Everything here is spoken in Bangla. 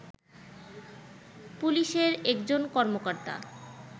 পুলিশের একজন কর্মকর্তা